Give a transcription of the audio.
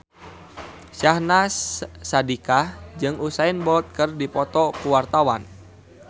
Syahnaz Sadiqah jeung Usain Bolt keur dipoto ku wartawan